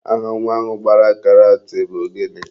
Aha nwa ahụ gbara karat bụ gịnị?